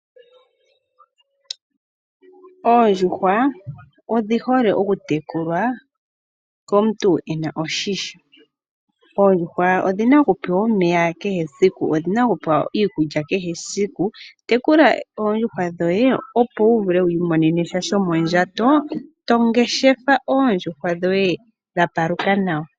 Oondjuhwa odhi hole oku tekulwa komuntu e na oshisho. Oondjuhwa odhi na oku pewa omeya kehe esiku, odhi na oku peya iikulya kehe esiku. Tekula oondjuhwa dhoye opo wu vule wi imonene shomondjato, tongeshefa oondjuhwa dhoye dha paluka nawa.